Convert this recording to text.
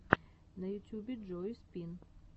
на ютюбе джои спин